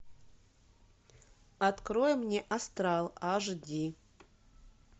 открой мне астрал аш ди